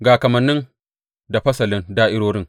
Ga kamanni da fasalin da’irorin.